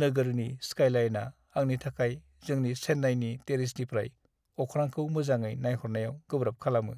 नोगोरनि स्काइलाइनआ आंनि थाखाय जोंनि चेन्नाइनि टेरेसनिफ्राय अख्रांखौ मोजाङै नायहरनायाव गोब्राब खालामो।